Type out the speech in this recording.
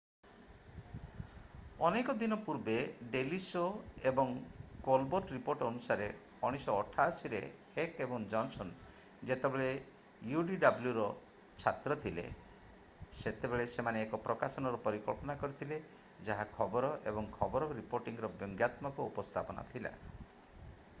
ଅନେକ ଦିନ ପୂର୍ବେ ଡେଲି ଶୋ ଏବଂ କୋଲବର୍ଟ ରିପୋର୍ଟ ଅନୁସାରେ 1988 ରେ ହେକ୍ ଏବଂ ଜନସନ ଯେତେବେଳେ ୟୁଡବ୍ଲ୍ୟୁରେ ଛାତ୍ର ଥିଲେ ସେତେବେଳେ ସେମାନେ ଏକ ପ୍ରକାଶନର ପରିକଳ୍ପନା କରିଥିଲେ ଯାହା ଖବର ଏବଂ ଖବର ରିପୋର୍ଟିଂର ବ୍ୟଙ୍ଗାତ୍ମକ ଉପସ୍ଥାପନା ଥିଲା